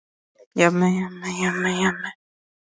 Það er, skilurðu, huggun mín og réttlæting í veraldarvolkinu.